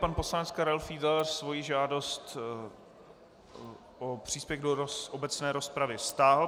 Pan poslanec Karel Fiedler svoji žádost o příspěvek do obecné rozpravy stáhl.